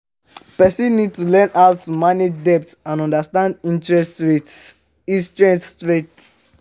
Person need to learn how to manage debt and understand interest rates interest rates